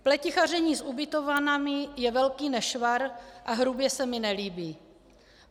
Pletichaření s ubytovnami je velký nešvar a hrubě se mi nelíbí.